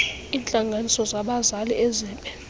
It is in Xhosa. iintlanganiso zabazali ezibe